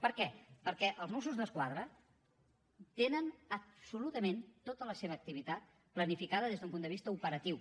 per què perquè els mossos d’esquadra tenen absolutament tota la seva activitat planificada des d’un punt de vista operatiu